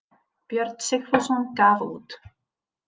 Björn Sigfússon gaf út.